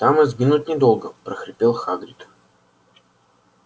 там и сгинуть недолго прохрипел хагрид